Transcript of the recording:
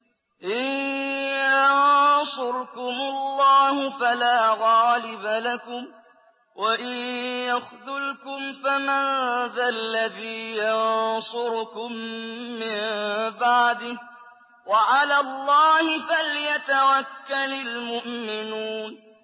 إِن يَنصُرْكُمُ اللَّهُ فَلَا غَالِبَ لَكُمْ ۖ وَإِن يَخْذُلْكُمْ فَمَن ذَا الَّذِي يَنصُرُكُم مِّن بَعْدِهِ ۗ وَعَلَى اللَّهِ فَلْيَتَوَكَّلِ الْمُؤْمِنُونَ